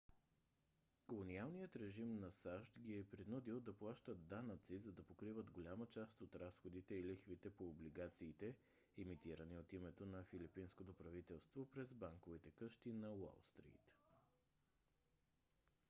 колониалният режим на сащ ги е принудил да плащат данъци за да покриват голяма част от разходите и лихвите по облигациите емитирани от името на филипинското правителство през банковите къщи на уолстрийт